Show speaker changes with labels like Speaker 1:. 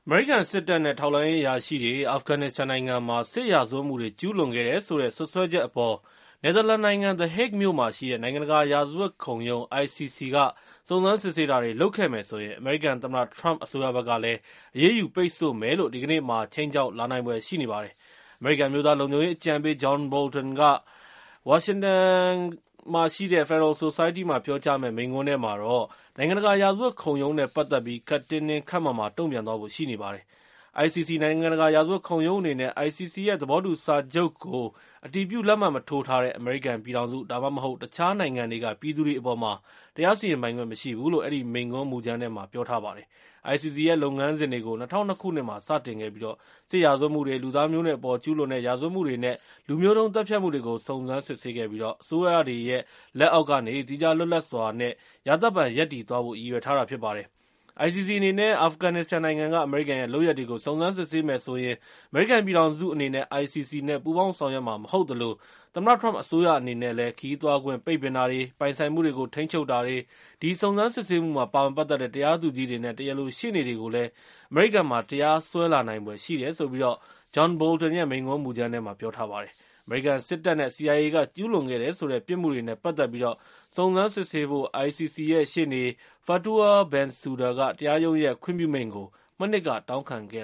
Speaker 1: မေရိကန်စစ်တပ် နဲ့ ထောက်လှမ်းရေးအရာရှိတွေက အာဖဂန်နစ္စတန်နိုင်ငံမှာ စစ်ရာဇဝတ်မှုတွေကျူးလွန်ခဲ့တယ်ဆိုတဲ့ စွပ်စွဲချက်အပေါ် နယ်သာလန်နိုင်ငံ The Hague မြို့မှာရှိတဲ့ နိုင်ငံတကာရာဇဝတ်ခုံရုံးက စုံစမ်းစစ်ဆေးတာတွေလုပ်ခဲ့မယ်ဆိုရင် ၊ အမေရိကန်သမ္မတထရမ့် အစိုးရဘက်ကလည်း အရေးယူပိတ်ဆို့မယ်လို့ ဒီကနေ့မှာ ခြိမ်းခြောက်လာနိုင်ဖွယ်ရှိနေပါတယ်။ အမေရိကန်အမျိုးသားလုံခြုံရေးအကြံပေး John Bolton ဝါရှင်တန်က Federalist Society မှာ ပြောကြားမယ့် မိန့်ခွန်းထဲမှာတော့ နိုင်ငံတကာရာဇတ်ဝတ်ခုံရုံးနဲ့ ပတ်သက်ပြီး ခပ်တင်းတင်း ခပ်မာမာ တုံ့ပြန်သွားဖို့ရှိနေပါတယ်။ ICCနိုင်ငံတကာရာဇဝတ်ခုံရုံးအနေနဲ့ ICC ရဲ့ သဘောတူစာချုပ်ကို အတည်ပြုလက်မှတ်မထိုးထားတဲ့ အမေရိကန်ပြည်ထောင်စု ဒါမှမဟုတ် တခြားနိုင်ငံတွေက ပြည်သူတွေအပေါ်မှာ တရားစီရင်ပိုင်ခွင့်မရှိဘူးလို့ အဲဒီမိန့်ခွန်းမူကြမ်းထဲမှာ ပြောထားပါတယ်။ ICC ရဲ့ လုပ်ငန်းစဉ်တွေကို ၂၀၀၂ ခုနှစ်မှာ စတင်ခဲ့ပြီး၊ စစ်ရာဇဝတ်မှုတွေ၊ လူသားမျိုးနွယ်တွေအပေါ်မှာ ကျူးလွန်တဲ့ ရာဇဝတ်မှုတွေ နဲ့ လူမျိုးတုံးသတ်ဖြတ်မှုတွေကို စုံစမ်းစစ်ဆေးခဲ့ပြီး၊ အစိုးရတွေရဲ့ လက်အောက်ကနေ သီးခြားလွတ်လပ်စွာ နဲ့ ရာသက်ပန်ရပ်တည်သွားဖို့ ရည်ရွယ်ထားတာဖြစ်ပါတယ်။ ICC အနေနဲ့ အာဖဂန်နစ္စတန်နိုင်ငံက အမေရိကန်ရဲ့ လုပ်ရပ်တွေကို စုံစမ်းစစ်ဆေးမယ်ဆိုရင်၊ အမေရိကန်ပြည်ထောင်စုအနေနဲ့ ICC နဲ့ ပူးပေါင်းဆောင်ရွက်မှာ မဟုတ်သလို၊ သမ္မတထရမ့်အစိုးရအနေနဲ့လည်း၊ ခရီးသွားခွင့်ပိတ်ပင်တာတွေ၊ ပိုင်ဆိုင်မှုတွေကို ထိန်းချုပ်တာတွေ၊ ဒီစုံစမ်းစစ်ဆေးမှုမှာပါဝင်ပတ်သက်တဲ့ တရားသူကြီးတွေနဲ့ တရားလိုရှေ့နေတွေကိုလည်း အမေရိကန်မှာ တရားစွဲလာနိုင်ဖွယ်ရှိတယ်လို့ John Bolton ရဲ့ မိန့်ခွန်းမူကြမ်းထဲမှာ ပြောထားပါတယ်။ အမေရိကန်စစ်တပ် နဲ့ CIA က ကျူးလွန်ခဲ့တယ်ဆိုတဲ့ ပြစ်မှုတွေနဲ့ ပတ်သက်ပြီး စုံစမ်းစစ်ဆေးဖို့ ICCရဲ့ ရှေ့နေ Fatour Bensouda က တရားရုံးရဲ့ ခွင့်ပြုမိန့်ကို မနှစ်က တောင်းခံခဲ့